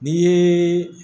N'i ye